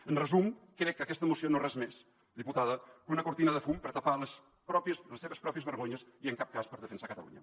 en resum crec que aquesta moció no és res més diputada que una cortina de fum per tapar les seves pròpies vergonyes i en cap cas per defensar catalunya